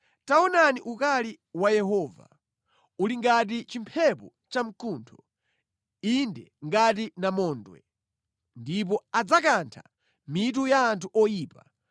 Taonani ukali wa Yehova uli ngati chimphepo chamkuntho, inde ngati namondwe. Ndipo adzakantha mitu ya anthu oyipa.